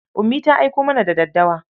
Ummi ta aiko mana da daddawa.